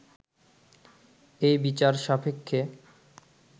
এই বিচার-সাপেক্ষে